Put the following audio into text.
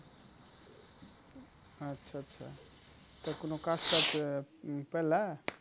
আচ্ছা আচ্ছা তো কোনো কাজটাজ উম পেলা?